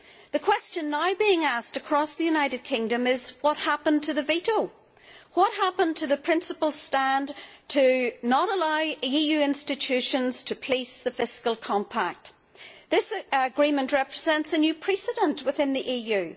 The question now being asked across the United Kingdom is what happened to the veto, what happened to the stand of principle to not allow EU institutions to police the fiscal compact? This agreement represents a new precedent within the EU.